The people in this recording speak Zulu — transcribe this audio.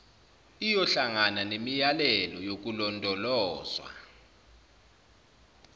iyohlangabezana nemiyalelo yokulondolozwa